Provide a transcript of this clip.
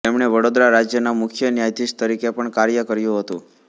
તેમણે વડોદરા રાજ્યના મુખ્ય ન્યાયાધીશ તરીકે પણ કાર્ય કર્યું હતું